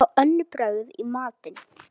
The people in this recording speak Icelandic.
Fá önnur brögð í matinn.